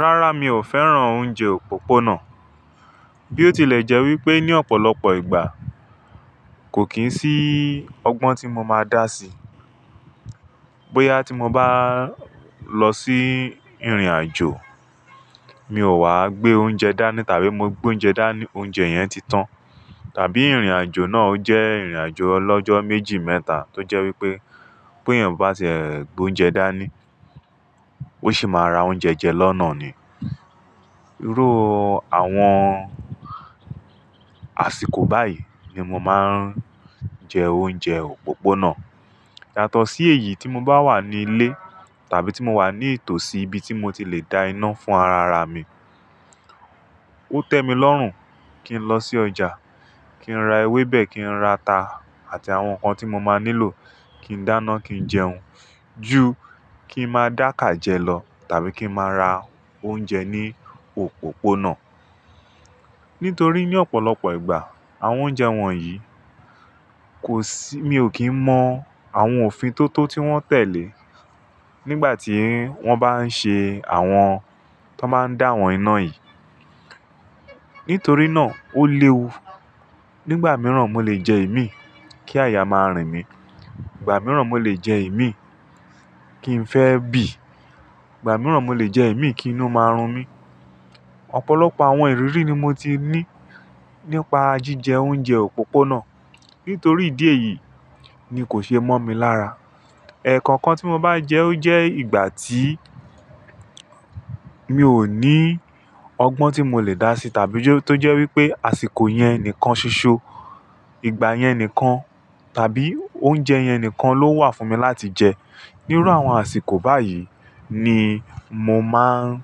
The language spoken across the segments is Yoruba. Rárá, mi ò fẹ́ràn oúnjẹ òpópónà. Bí ó tilẹ̀ jẹ́ wípé ní ọ̀pọ̀lọpọ̀ ìgbà kò kí ń sí ọgbọ́n tí mo máa dá sí. Bóyá tí mo bá lọ sí ìrìnàjò, mi ò wá gbé oúnjẹ dání tàbí mo gbé oúnjẹ dání, oúnjẹ yẹn ti tán. Tàbí ìrìnàjò náà ó jẹ́ ìrìnàjò olọ́jọ́ méjì, mẹ́ta tó jẹ́ wípé bóyá mo bá ti e gbé oúnjẹ dání, ó sì máa ra oúnjẹ jẹ lọ́nà ni. Iru àwọn àsìkò báyìí ni mo máa ń jẹ oúnjẹ òpópónà. Yàtọ̀ sí èyí tí mo bá wà ní ilé tàbí tí mo wà ní ìtòsí ibi tí mo ti le dá iná fún ara ara mi. Ó tẹ́mi lọ́rùn kí n lọ sí ọjà, kí n ra ewébẹ̀, kí n ra ata àti àwọn nǹkan tí mo máa nílò kí n dáná, kí n jẹun ju kí n máa dákà jẹ lọ tàbí kí n máa ra oúnjẹ ní òpópónà. Nítorí ní ọ̀pọ̀lọpọ̀ ìgbà àwọn oúnjẹ wọ̀nyí kò sí, mi ò kín mọ àwọn òfin tó tó tí wọ́n tẹ̀lé nígbà tí wọ́n bá ń ṣe àwọn tó máa ń dáwọn iná yìí. Nítorí náà ó léwu. Nígbà mìíràn mo lè jẹ ìmí kí àyà máa rìn mí, ìgbà mìíràn mo lè jẹ ìmí kí n fẹ́ bì, ìgbà mìíràn mo lè jẹ ìmí kí inú máa run mí. Ọ̀pọ̀lọpọ̀ àwọn ìrírí ni mo ti ní nípa jíjẹ oúnjẹ òpópónà. Nítorí ìdí èyí ni kò ṣe mọ́ mi lára. Ẹ̀ẹ̀kọ̀kan tí mo bá jẹ ó jẹ́ ìgbà tí mi ò ní ọgbọ́n tí mo lè dá sí tàbí tó jẹ́ wípé àsìkò yẹn nìkan ṣoṣo, ìgbà yẹn nìkan tàbí oúnjẹ yẹn nìkan ló wà fún mi láti jẹ. Níru àwọn àsìkò báyìí ni mo máa ń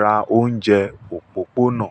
ra oúnjẹ òpópónà.